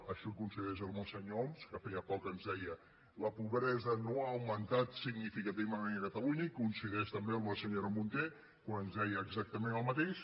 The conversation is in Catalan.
en això coincideix amb el senyor homs que feia poc ens deia la pobresa no ha augmentat significativament a catalunya i coincideix també amb la senyora munté quan ens deia exactament el mateix